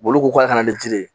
Olu ko k'a kana ni jiri ye